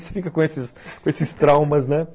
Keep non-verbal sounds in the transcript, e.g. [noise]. [laughs] Você fica com esses com esses traumas, né?